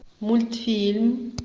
мультфильм